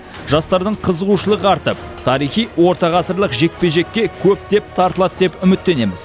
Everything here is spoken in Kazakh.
жастардың қызуғышылығы артып тарихи орта ғасырлық жекпе жекке көптеп тартылады деп үміттенеміз